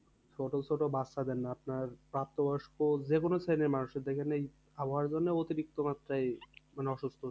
ছোট ছোট বাচ্চাদের না আপনার প্রাপ্তবয়স্ক যেকোনো ছেলেমানুষের দেখেনিন আবহাওয়ার জন্য অতিরিক্ত মাত্রায় মানে অসুস্থ।